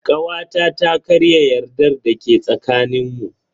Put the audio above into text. Kawata ta karya yardar da ke tsakanin mu.